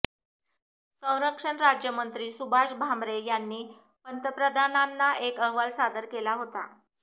संरक्षण राज्यमंत्री सुभाष भामरे यांनी पंतप्रधानांना एक अहवाल सादर केला होता